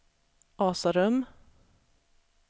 Asarum